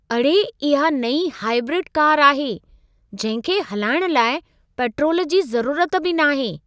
अड़े! इहा नईं हाइब्रिड कार आहे, जहिं खे हलाइण लाइ पेट्रोल जी ज़रूरत बि न आहे।